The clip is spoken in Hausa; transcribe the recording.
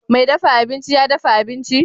Mai dafa abinci ya dafa abinci?